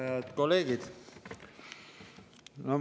Head kolleegid!